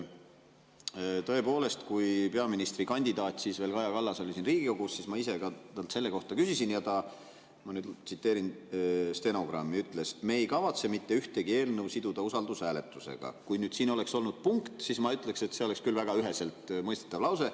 Tõepoolest, kui peaministrikandidaat Kaja Kallas oli siin Riigikogus, siis ma ise ka selle kohta küsisin ja ta ütles, ma nüüd tsiteerin stenogrammi: "Me ei kavatse mitte ühtegi eelnõu siduda usaldushääletusega …" Kui nüüd siin oleks olnud punkt, siis ma ütleksin, et see oleks küll väga üheselt mõistetav lause.